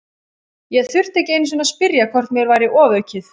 Ég þurfti ekki einu sinni að spyrja hvort mér væri ofaukið.